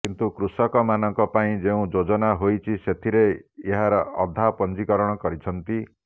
କିନ୍ତୁ କୃଷକମାନଙ୍କ ପାଇଁ ଯେଉଁ ଯୋଜନା ହୋଇଛି ସେଥିରେ ଏହାର ଅଧା ପଞ୍ଜିକରଣ କରିଛନ୍ତି